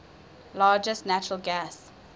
largest natural gas